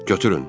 Götürün.